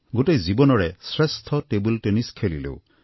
গোটেই জীৱনৰে শ্ৰেষ্ঠ টেবুল টেনিছ খেলিলোঁ